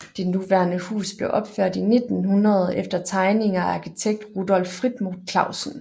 Det nuværende hus blev opført i 1900 efter tegninger af arkitekt Rudolf Frimodt Clausen